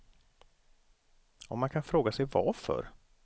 Och man kan fråga sig varför.